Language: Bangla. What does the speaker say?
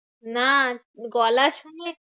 না গলা শুনে